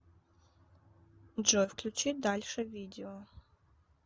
джой включи дальше видео